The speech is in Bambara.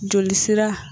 Joli sira